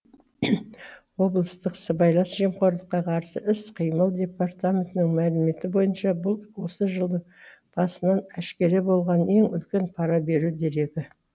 облыстық сыбайлас жемқорлыққа қарсы іс қимыл департаментінің мәліметі бойынша бұл осы жылдың басынан әшкере болған ең үлкен пара беру дерегі